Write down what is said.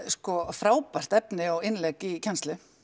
frábært efni og innlegg í kennslu